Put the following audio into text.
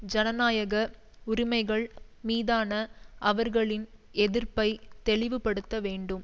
ஜனநாயக உரிமைகள் மீதான அவர்களின் எதிர்ப்பை தெளிவுபடுத்த வேண்டும்